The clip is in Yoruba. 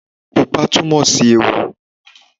Pupa túnmòsí ewu